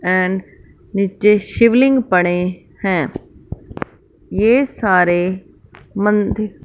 and नीचे शिवलिंग पड़े हैं ये सारे मंदिर--